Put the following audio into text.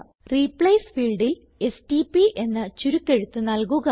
replace ഫീൽഡിൽ STP എന്ന ചുരുക്കെഴുത്ത് നല്കുക